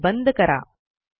file बंद करा